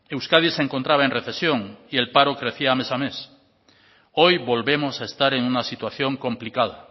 euskadi se encontraba en recesión y el paro crecía mes a mes hoy volvemos a estar en una situación complicada